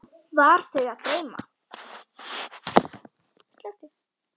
Var þau að dreyma?